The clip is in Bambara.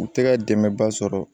U tɛ ka dɛmɛba sɔrɔ